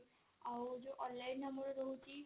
ଆଉ ଯୋଉ online ଆମର ରହୁଛି